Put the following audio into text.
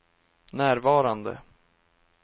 närvarande